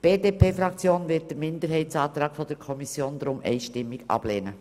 Die BDP-Fraktion wird den Minderheitsantrag der SAK deshalb einstimmig ablehnen.